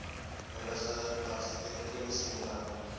huidige argitektoniese modelle